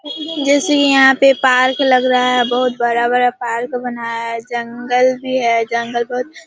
जैसे यहाँ पे पार्क लग रहा है बहुत बड़ा-बड़ा पार्क बनाया जंगल भी है जंगल बहुत --